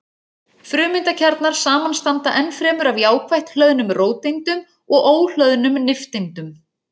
Frumeindakjarnar samanstanda ennfremur af jákvætt hlöðnum róteindum og óhlöðnum nifteindum.